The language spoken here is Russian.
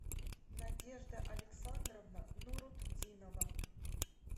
надежда александровна нурутдинова